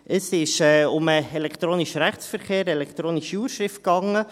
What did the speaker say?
Es ging um den elektronischen Rechtsverkehr, um die elektronische Urschrift.